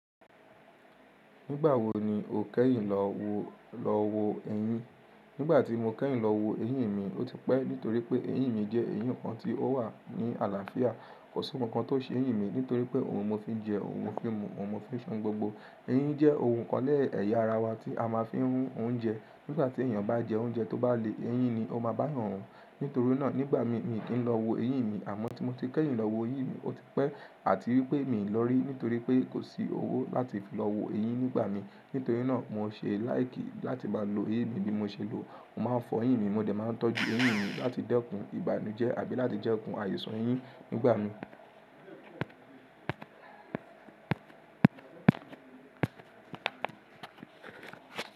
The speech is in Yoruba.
Nígbà wo ni o kẹ́yìn lọ wo lọ wo eyín? Nígbà tí mo kẹ́yìn lọ wo eyín mi, ó ti pẹ́ nítorí pé eyin mi jẹ́ eyin kan tí ó wà ní àlàáfíà. Kosi nkankan ti o se eyin mi nitori pe oun mo n fi je, oun mo fi n mu oun mo fi n se ohun gbogbo. Eyin jẹ́ ohun nkan lẹ̀ya ara wa tí a má a fi ń rún oúnjẹ. Nígbà tí èèyàn bá jẹ oúnjẹ tó bá le, ẹyín ni ó máa bá yan run. Nítorí náà, nígbà mi, mi kì í lọ wo eyin mi àmọ́ tí mo ti kẹ́yìn lọ wo eyín mi, ó ti pẹ́ àti wípé mi lọ rí nítorí pé kò sí owó láti fi lọ wo eyin nígbà mi. Nítorí náà, mo ṣe like láti maa lo eyin mi bí mo ṣe lọ. Mo má a fọ eyin mi, mo dẹ̀ máa n tọ́jú eyín mi láti dẹ́kun ìbànújẹ́ àbí láti dẹ́kun àìsàn ẹyín nígbà mi.